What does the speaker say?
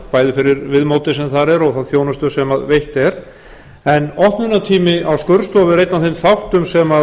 bæði fyrir viðmótið sem þar er og þá þjónustu sem veitt er en opnunartími á skurðstofu er einn af eða þáttum sem